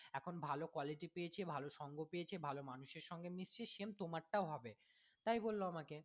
এখন ভালো quality পেয়েছে ভালো সঙ্গ পেয়েছে ভালো মানুষের সঙ্গে মিসছি same তোমার টাও হবে তাই বললো আমাকে